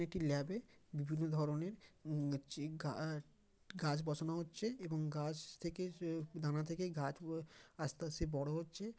একটি ল্যাব এ বিভিন্ন ধরণের যেই গা-গাছ বসানো হচ্ছে এবং গাছ থেকে সে দানা থেকে গাছ আ-আসতে আসতে বড়ো হচ্ছে।